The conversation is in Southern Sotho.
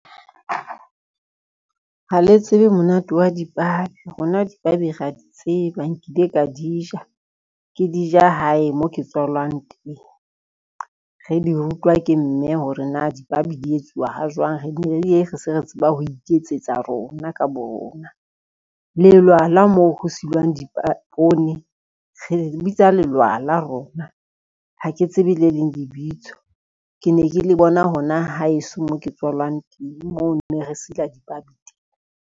Ha le tsebe monate wa dipabi rona dipabi ra di tseba nkile ka di ja, ke di ja hae mo ke tswalwang teng. Re di rutwa ke mme hore na dipabi di etsuwa ha jwang, re bile se re tseba ho iketsetsa rona ka bo rona. Lelwala moo ho silelwang poone, re bitsa lelwala rona ha ke tsebe le leng lebitso, ke ne ke le bona hona ho haeso mo ke tswalang teng moo ne re sila dipabi teng.